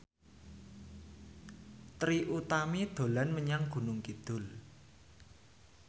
Trie Utami dolan menyang Gunung Kidul